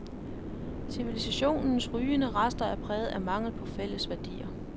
Civilisationens rygende rester er præget af mangel på fælles værdier.